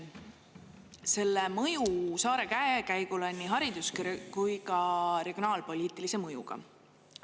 Selle mõju saare käekäigule on nii haridus- kui ka regionaalpoliitilise mõjuga.